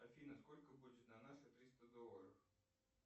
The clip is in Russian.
афина сколько будет на наши триста долларов